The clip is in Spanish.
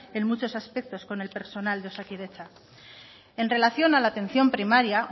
en muchos aspectos con el personal de osakidetza en relación a la atención primaria